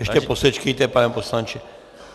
Ještě posečkejte, pane poslanče.